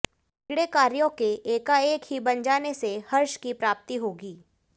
बिगड़े कार्यों के एकाएक ही बन जाने से हर्ष की प्राप्ति होगी